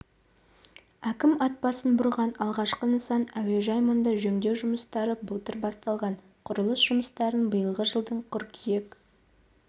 әкім атбасын бұрған алғашқы нысан әуежай мұнда жөндеу жұмыстары былтыр басталған құрылыс жұмыстарын биылғы жылдың қыркүйек